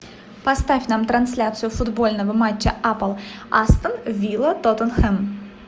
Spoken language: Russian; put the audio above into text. поставь нам трансляцию футбольного матча апл астон вилла тоттенхэм